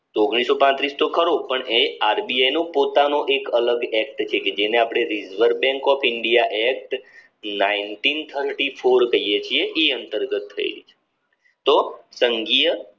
તો કરો પણ એ આરબીઆઈનું પોતાનું એક અલગ એક્ટ છે કે જેને આપણે reserve bank of India act કહીએ છીએ એ અંતર્ગત તો સંગીય